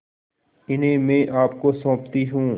इन्हें मैं आपको सौंपती हूँ